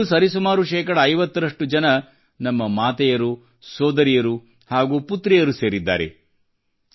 ಇದರಲ್ಲೂ ಸರಿಸುಮಾರು ಶೇಕಡ 50ರಷ್ಟು ಜನ ನಮ್ಮ ಮಾತೆಯರು ಸೋದರಿಯರು ಹಾಗೂ ಪುತ್ರಿಯರು ಸೇರಿದ್ದಾರೆ